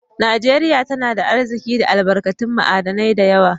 Najeriya tana da Arziki da albarkatun ma'adinai da yawa